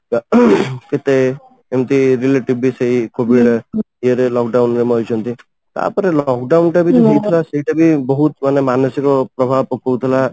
କେତେ ଏମିତି relative ବି ସେଇ COVID ଇଏ ରେ lock down ରେ ମରିଛନ୍ତି ତାପରେ lock down ଟା ସେଇଟା ବି ବହୁତ ମାନେ ମାନସିକ ପ୍ରଭାବ ପକଉଥିଲା